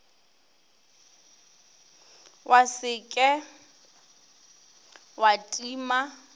wa se ke wa tima